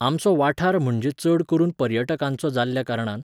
आमचो वाठार म्हणजे चड करून पर्यटकांचो जाल्ल्या कारणान